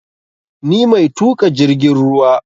Ni mai tuƙa jirgin ruwa